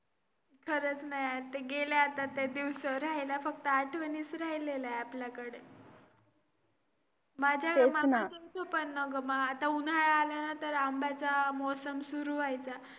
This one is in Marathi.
balance sheet किंवा profit आणि loss account मध्ये काही problem असेल तर कसा find out करायचा.